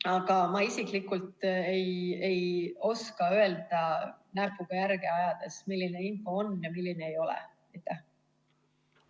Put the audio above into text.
Aga ma isiklikult ei oska öelda, näpuga järge ajada, milline info on ja milline ei ole.